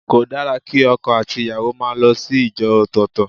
Kò dára kí ọkọ àti ìyàwó máa lọ sí ìjọ ọ̀tọ̀ọ̀tọ̀.